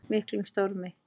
miklum stormi.